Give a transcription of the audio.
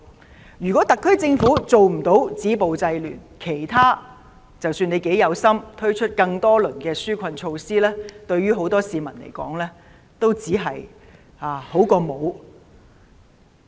倘若特區政府無法止暴制亂，不論政府如何有心地推出多輪紓困措施，對很多市民來說，只是聊勝於無。